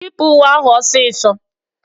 Yipụ uwe ahụ ọsịsọ!